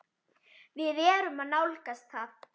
Við erum að nálgast það.